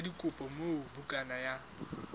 sa dikopo moo bukana ya